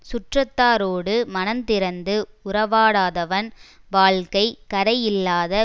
சுற்றத்தாரோடு மனந்திறந்து உறவாடாதவன் வாழ்க்கை கரை இல்லாத